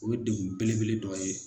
O degun belebele dɔ ye.